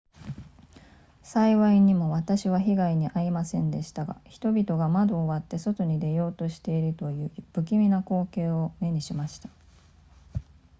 幸いにも私は被害に遭いませんでしたが人々が窓を割って外に出ようとしているという不気味な光景を目にしました